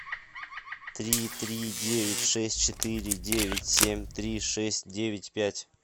три три девять шесть четыре девять семь три шесть девять пять